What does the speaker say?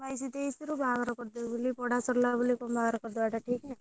ବାଇଶି ତେଇଶି ରୁ ବାହାଘର କରିଦେବେ ବୋଲି ପଢା ସରିଗଲା ବୋଲି କଣ ବାହାଘର କରିଦବା କଣ ଠିକ ନା?